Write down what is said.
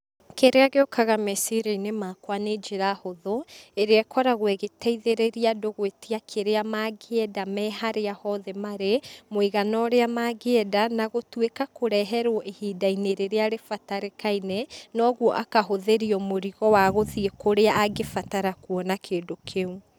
Kĩrĩa gĩũkaga meciria-inĩ makwa nĩ njĩra hũthũ, ĩrĩa ĩkoragwo ĩgĩteithĩrĩria andũ gwĩtia kĩrĩa mangĩenda me harĩa hothe marĩ, mũigana ũrĩa mangĩenda, na gũtuĩka kũreherwo ihinda-inĩ rĩrĩa rĩbatarĩkaine, noguo akahũthĩrio mũrigo wa gũthiĩ kũrĩa angĩbatara kuona kĩndũ kĩũ.